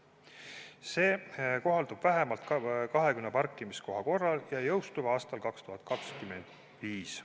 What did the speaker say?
See kohaldub vähemalt 20 parkimiskoha korral ja jõustub aastal 2025.